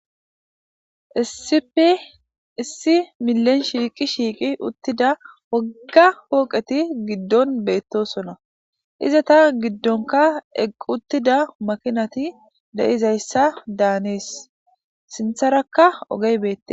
issipi issi milen shiiqi shiiqi uttida wagga hooqeti giddon beettosona iza ta giddonka eq uttida makinati de7izayssa daanees sintharakka ogey beette